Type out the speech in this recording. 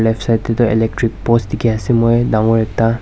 Left side dae tuh electric post dekhi ase moi dangor ekta.